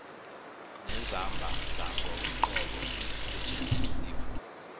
nezamba zangokoqobo ezisetshenzisiwe